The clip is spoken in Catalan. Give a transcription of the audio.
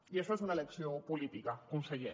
i això és una elecció política conseller